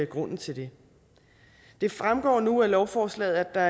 grunden til det det fremgår nu af lovforslaget at der